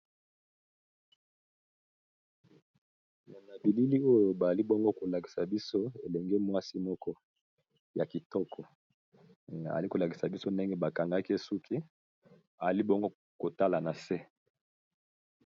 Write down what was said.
Na bilili oyo bali bongo ko lakisa biso elenge mwasi moko ya kitoko, ali ko lakisa biso ndenge ba kangaki ye suki ali bongo kotala na se.